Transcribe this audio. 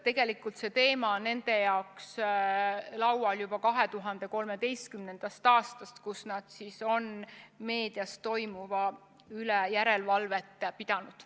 Tegelikult on see teema nende laual olnud juba 2013. aastast, kui nad hakkasid meedias toimuva üle järelevalvet tegema.